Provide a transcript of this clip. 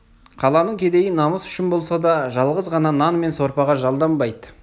қаланың кедейі намыс үшін болса да жалғыз ғана нан мен сорпаға жалданбайды